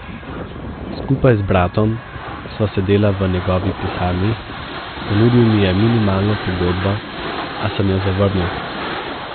Skupaj z bratom sva sedela v njegovi pisarni, ponudil mi je minimalno pogodbo, a sem jo zavrnil.